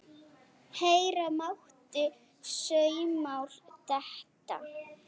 Heyra mátti saumnál detta.